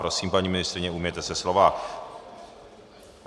Prosím, paní ministryně, ujměte se slova.